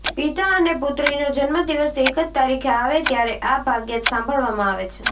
પિતા અને પુત્રીનો જન્મદિવસ એક જ તારીખે આવે ત્યારે આ ભાગ્યે જ સાંભળવામાં આવે છે